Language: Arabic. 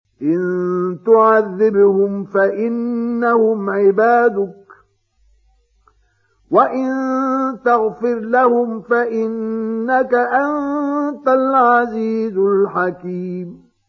إِن تُعَذِّبْهُمْ فَإِنَّهُمْ عِبَادُكَ ۖ وَإِن تَغْفِرْ لَهُمْ فَإِنَّكَ أَنتَ الْعَزِيزُ الْحَكِيمُ